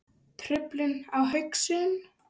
Truflun á hugsun